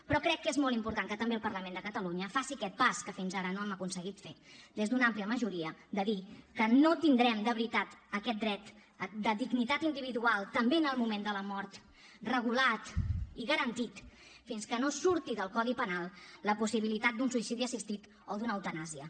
però crec que és molt important que també el parlament de catalunya faci aquest pas que fins ara no hem aconseguit fer des d’una àmplia majoria de dir que no tindrem de veritat aquest dret de dignitat individual també en el moment de la mort regulat i garantit fins que no surti del codi penal la possibilitat d’un suïcidi assistit o d’una eutanàsia